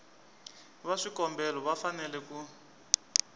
va swikombelo va fanele ku